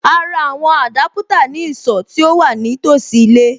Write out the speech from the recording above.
A ra àwọn Adaputa ní ìsọ̀ tí ó wà ní tòsí ilé.